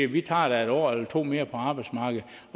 de tager et år eller to mere på arbejdsmarkedet